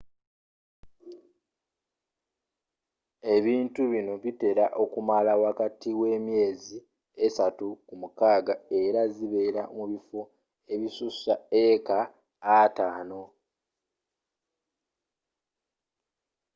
ebintu bino bitera okumala wakati we myeezi esaatu ku mukaaga era zibeera mu bifo ebissussa eeka ataano 50